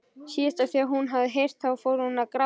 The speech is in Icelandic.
Síðast þegar hún hafði heyrt það fór hún að gráta.